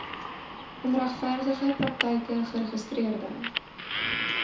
onregverdige praktyke geregistreede